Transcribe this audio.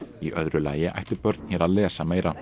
í öðru lagi ættu börn hér að lesa meira